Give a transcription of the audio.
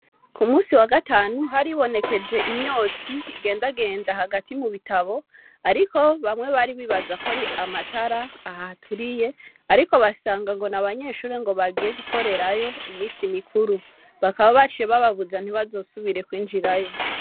ku musi wa gatanu haribonekeje imyotsi igendagenda hagati mu bitabo ariko bamwe bari bibabaza ko ari amatara ahaturiye ariko basanga ngo n'abanyeshuri ngo bagiye gukorerayo ngo iminsi mikuru bakaba baciye babuza ngo ntibazosubire kwinjirayo.